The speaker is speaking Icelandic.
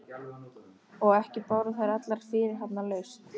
Og ekki báru þær allar fyrirhafnarlaust.